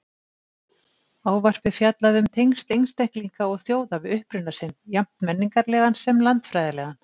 Ávarpið fjallaði um tengsl einstaklinga og þjóða við uppruna sinn, jafnt menningarlegan sem landfræðilegan.